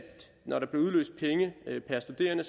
når der bliver udløst penge per studerende